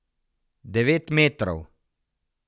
Devet metrov.